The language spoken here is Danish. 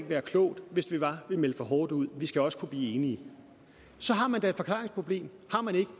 være klogt hvis det var man meldte for hårdt ud vi skal også kunne blive enige så har man da et forklaringsproblem har man ikke